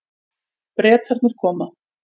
Bretarnir koma.